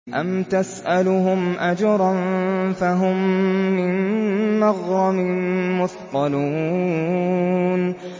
أَمْ تَسْأَلُهُمْ أَجْرًا فَهُم مِّن مَّغْرَمٍ مُّثْقَلُونَ